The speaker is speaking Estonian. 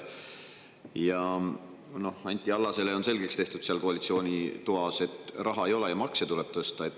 Anti Allasele on selgeks tehtud seal koalitsiooni toas, et raha ei ole ja makse tuleb tõsta.